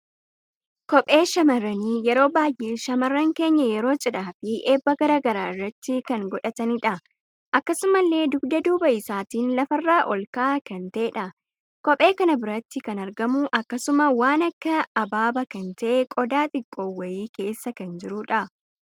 Kophee shamarrani yeroo baay'ee shamarran keenya yeroo cidhaa fi eebba garaagaraa irratti kan godhatanidha. Akkasumalle dugda duuba isaatiin lafarra ol ka'aa kan ta'edha. Kophee kana biratti kan argamu akkasuma waan akka abaaba kan ta'e qodaa xiqqoo wayi keessa kan jirudha.